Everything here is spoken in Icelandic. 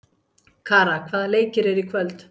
Kara, hvaða leikir eru í kvöld?